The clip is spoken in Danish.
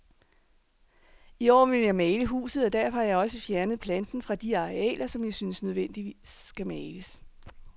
I år vil jeg male huset, og derfor har jeg også fjernet planten fra de arealer, som jeg synes nødvendigvis skal males.